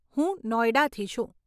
હું નોઇડાથી છું .